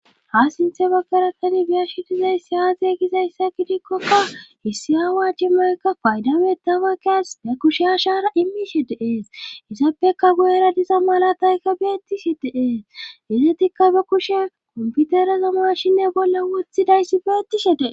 ha sinthe baggarakani biyashi dizayssi aze gizayssa gidikkokka issi awa cimaykka fayda metawaqas be kushya shaara imishe de'ees isappeka guyera diza malataykka beettisi dee'es izatikka ba kushe komputeraza mashinne bolla wothidayssi beettise dee'es